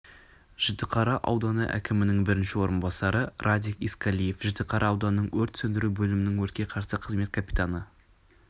жітіқара ауданы әкімінің бірінші орынбасары радик искалиев жітіқара ауданының өрт сөндіру бөлімінің өртке қарсы қызмет капитаны